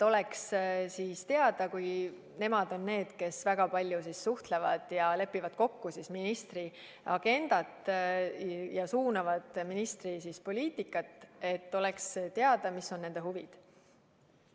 Kuna nõunikud on need, kes väga palju suhtlevad ja lepivad kokku ministri agendat ja suunavad ministri poliitikat, siis peaks olema teada, mis on nende huvid.